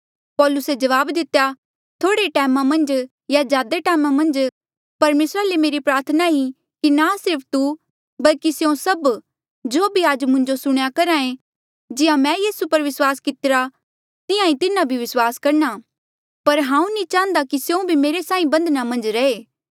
पौलुसे जवाब दितेया थोह्ड़े टैमा मन्झ या ज्यादा टैमा मन्झ परमेसरा ले मेरी प्रार्थना ई कि ना सिर्फ तू बल्कि स्यों सभ जो भी आज मुंजो सुणेया करहा ऐें जिहां मैं यीसू पर विस्वास कितरा तिहां ईं तिन्हा भी विस्वास करणा पर हांऊँ नी चाहन्दा की स्यों भी मेरे साहीं बन्धना मन्झ रहे